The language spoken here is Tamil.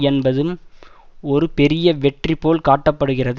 என்பதும் ஒரு பெரிய வெற்றி போல் காட்ட படுகிறது